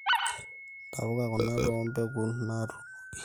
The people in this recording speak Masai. ntapuka kuna too mbekun naatunoki